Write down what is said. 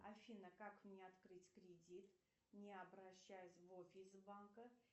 афина как мне открыть кредит не обращаясь в офис банка